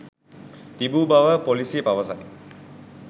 තිබූ බවද පොලිසිය පවසයි.